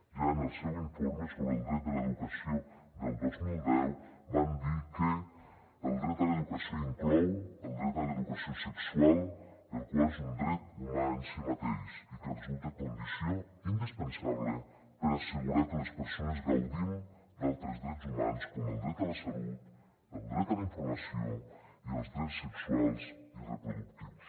ja en el seu informe sobre el dret de l’educació del dos mil deu van dir que el dret a l’educació inclou el dret a l’educació sexual el qual és un dret humà en si mateix i que resulta condició indispensable per assegurar que les persones gaudim d’altres drets humans com el dret a la salut el dret a la informació i els drets sexuals i reproductius